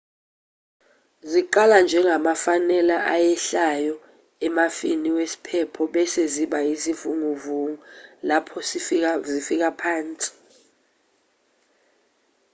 ziqala njengamafanela ayehlayo emafwini wesiphepho bese ziba izivunguvungu lapho zifika phansi